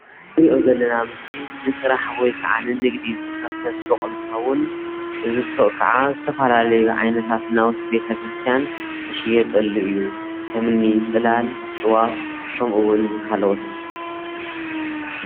እዚ ንሪኦ ዘለና ምስሊ ንስራሕ ወይ ከዓ ንንግዲ ዝተከፍተ ሱቅ እንትከዉን እዚ ሱቅ ከዓ ዝተፈላለዩ ዓይነታት ናዉቲ ቤተክርስትያን ዝሽየጠሉ እዩ ከምኒ ፅላል ጥዋፍ ከምኡ እዉን ካልኦት።